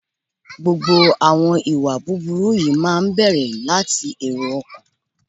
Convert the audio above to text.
Gbogbo àwọn ìwà búburú yìí máa ń bẹ̀rẹ̀ láti èrò ọkàn.